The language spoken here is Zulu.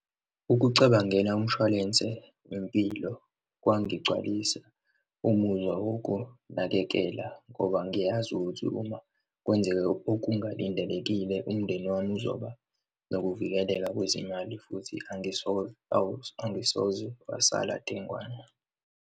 Ukucabangela umshwalense wempilo, kwangigcwalisa umuzwa wokunakekela ngoba ngiyazi ukuthi uma kwenzeka okungalindelekile, umndeni wami uzoba nokuvikeleka kwezimali futhi angisoze angisoze wasala dengwane.